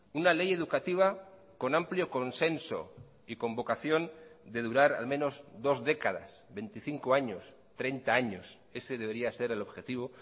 una ley educativa con amplio consenso y con vocación de durar al menos dos décadas veinticinco años treinta años ese debería ser el objetivo